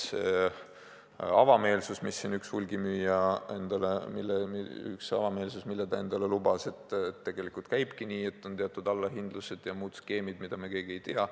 Üks avameelsus, mida üks hulgimüüja endale lubas, oli, et tegelikult käibki nii, et on teatud allahindlused ja muud skeemid, mida me keegi ei tea.